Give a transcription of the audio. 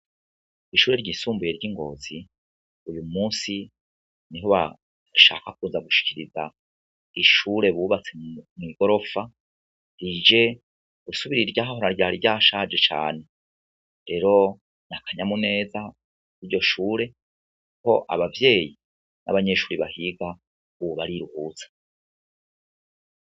Ishure ryisumbuye ry'ingozi uyu musi niho bashaka kuza gushikiriza ishure bubatse mw'igorofa, rije gusubirira iryahahora ryari ryashaje cane, rero n'akanyamuneza kuko abavyeyi n'abanyeshuri bahiga ubu bariruhutsa.